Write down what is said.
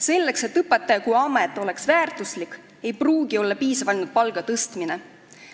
Selleks, et õpetajaamet oleks väärtustatud, ei pruugi piisata ainult palga tõstmisest.